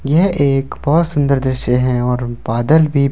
यह एक बहुत सुंदर दृश्य है और बादल भी--